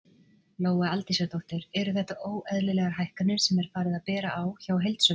Lóa Aldísardóttir: Eru þetta óeðlilegar hækkanir sem er farið að bera á hjá heildsölum?